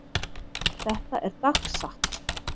Þetta er dagsatt.